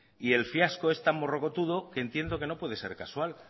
y el fiasco es tan morrocotudo que entiendo que no puede ser casual